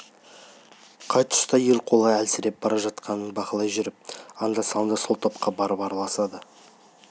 қай тұста ел қолы әлсіреп бара жатқанын бақылай жүріп анда-санда сол топқа барып араласады